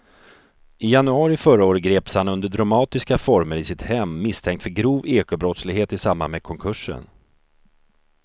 I januari förra året greps han under dramatiska former i sitt hem misstänkt för grov ekobrottslighet i samband med konkursen.